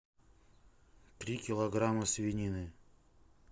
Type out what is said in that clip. три килограмма свинины